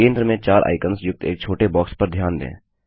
केंद्र में 4 आइकन्स युक्त एक छोटे बॉक्स पर ध्यान दें